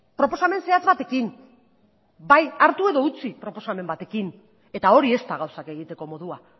proposamen zehatz batekin bai hartu edo utzi proposamen batekin eta hori ez da gauzak egiteko modua